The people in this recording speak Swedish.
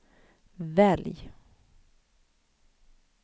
välj